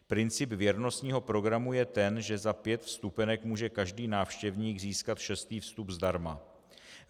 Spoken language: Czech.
Princip věrnostního programu je ten, že za pět vstupenek může každý návštěvník získat šestý vstup zdarma.